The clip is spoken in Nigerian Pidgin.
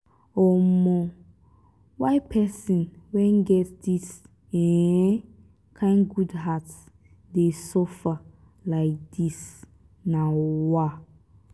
um why pesin wey get dis um kain good heart dey suffer lai dis? um